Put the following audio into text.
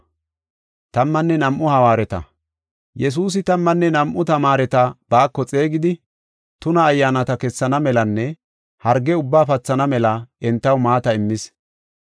Yesuusi tammanne nam7u tamaareta baako xeegidi, tuna ayyaanata kessana melanne harge ubbaa pathana mela entaw maata immis.